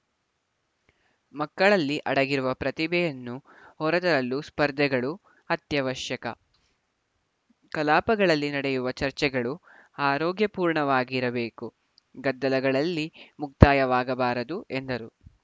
ಮಕ್ಕಳಲ್ಲಿ ಅಡಗಿರುವ ಪ್ರತಿಭೆಯನ್ನು ಹೊರತರಲು ಸ್ಪರ್ಧೆಗಳು ಅತ್ಯವಶ್ಯಕ ಕಲಾಪಗಳಲ್ಲಿ ನಡೆಯುವ ಚರ್ಚೆಗಳು ಆರೋಗ್ಯಪೂರ್ಣವಾಗಿರಬೇಕು ಗದ್ದಲಗಳಲ್ಲಿ ಮುಕ್ತಾಯವಾಗಬಾರದು ಎಂದರು